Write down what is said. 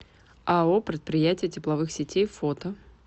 ао предприятие тепловых сетей фото